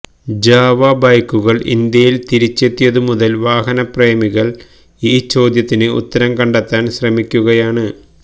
Java ബൈക്കുകള് ഇന്ത്യയില് തിരിച്ചെത്തിയതു മുതല് വാഹന പ്രേമികള് ഈ ചോദ്യത്തിന് ഉത്തരം കണ്ടെത്താന് ശ്രമിക്കുകയാണ്